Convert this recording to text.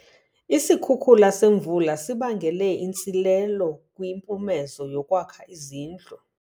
Isikhukula semvula sibangele intsilelo kwimpumezo yokwakha izindlu.